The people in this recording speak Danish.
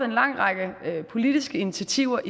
en lang række politiske initiativer